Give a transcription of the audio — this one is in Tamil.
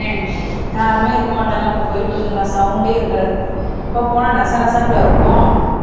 யாருமே இருக்க மாட்டாங்க நம்ம போயிட்டு வந்துடலாம் சவுண்ட்டே இருக்காது இப்ப போனா நசநசன்னுல இருக்கும்